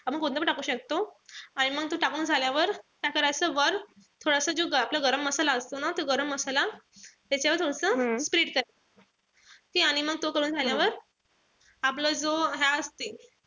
आपण कोणता पण टाकू शकतो. आणि मंग तो टाकून झाल्यावर काय करायचं वर जो थोडासा जो आपला गरम मसाला असतो ना तो गरम मसाला त्याच्यावर थोडस करायचं. आणि मंग तो करून झाल्यावर आपलं जो हा असते,